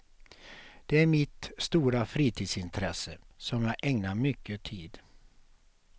Det är mitt stora fritidsintresse, som jag ägnar mycket tid.